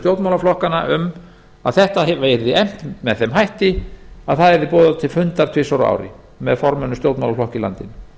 stjórnmálaflokkanna um að þetta yrði efnt með þeim hætti að það yrði boðað til fundar tvisvar á ári með formönnum stjórnmálaflokka í landinu